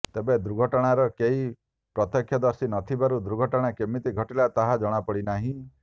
ତେବେ ଦୁର୍ଘଟଣାର କେହି ପ୍ରତ୍ୟକ୍ଷଦର୍ଶୀ ନଥିବାରୁ ଦୁର୍ଘଟଣା କେମିତି ଘଟିଲା ତାହା ଜଣାପଡ଼ିନାହିଁ